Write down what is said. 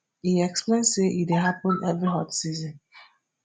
e explain say e dey happen every hot season